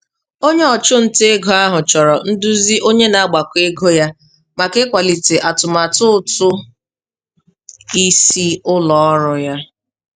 Onye ọchụnta ego ahụ chọrọ nduzi onye na-agbakọ ego ya maka ịkwalite atụmatụ ụtụ isi ụlọọrụ ya.